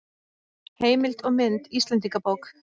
Heimild og mynd Íslendingabók.